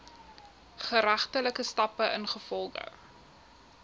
geregtelike stappe ingevolge